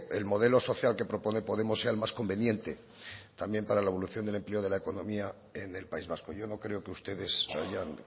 el modelo social que propone podemos sea el más conveniente también para la evolución del empleo de la economía en el país vasco yo no creo que ustedes hayan